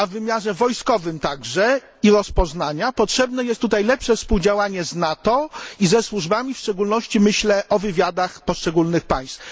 W wymiarze wojskowym i rozpoznania potrzebne jest tutaj także lepsze współdziałanie z NATO i ze służbami, w szczególności myślę o wywiadach poszczególnych państw.